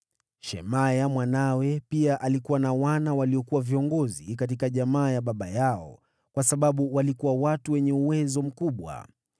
Shemaya mwanawe pia alikuwa na wana, waliokuwa viongozi katika jamaa ya baba yao kwa sababu walikuwa watu wenye uwezo mkubwa.